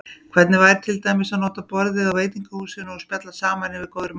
Hvernig væri til dæmis að panta borð á veitingahúsi og spjalla saman yfir góðri máltíð?